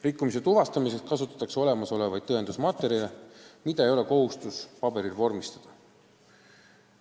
Rikkumise tuvastamiseks kasutatakse olemasolevaid tõendusmaterjale, mida ei pea paberil vormistama.